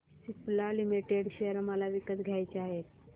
Cipla limited share मला विकत घ्यायचे आहेत